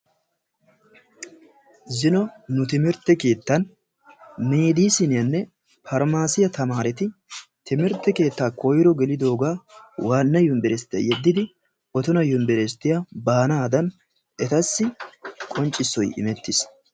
zino nu timirtte keettan pharmaacsiyanne meediisinita tamaaretti timirtte keettaa koyro gelidoogaa waana yunburusttiya yeddidi otona yunburestiya baanadan etassi qonccisoy immetiis.